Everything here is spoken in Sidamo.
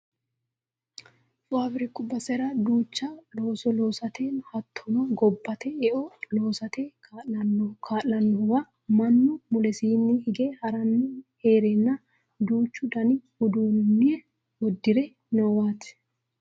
faabiriku basera duucha looso loosate hattono gobbate e"o lossate kaa'lannohuwa mannu mulesiinni hige haranni heerenna duuchu dani uduunne uddire noowaati